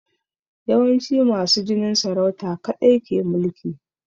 Yawanci masu jinin saurauta kaɗai ke mulki